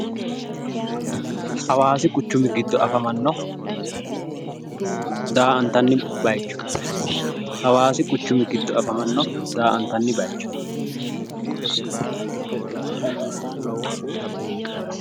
Hawaasi quchumi giddo afamanno daa''antanni bayicho, hawaasi quchumi giddo afamanno daa''antanni bayicho.